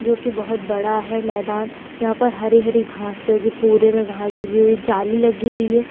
जो कि बोहोत बड़ा है मैदान। यहां पर हरी-हरी घासे उगी पूरे में घास उगी हुई है। जाली लगी हुई है।